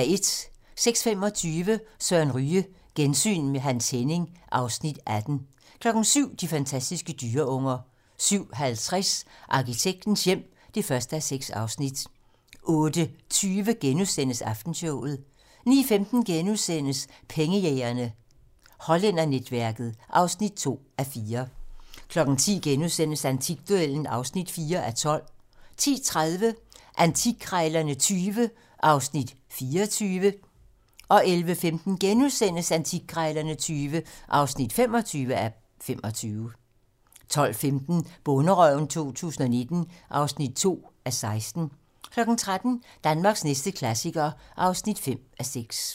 06:25: Søren Ryge: Gensyn med Hans Henning (Afs. 18) 07:00: De fantastiske dyreunger 07:50: Arkitektens hjem (1:6) 08:20: Aftenshowet *(tir) 09:15: Pengejægerne - Hollændernetværket (2:4)* 10:00: Antikduellen (4:12)* 10:30: Antikkrejlerne XX (24:25) 11:15: Antikkrejlerne XX (25:25)* 12:15: Bonderøven 2019 (2:16) 13:00: Danmarks næste klassiker (5:6)